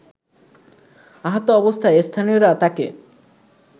আহত অবস্থায় স্থানীয়রা তাকে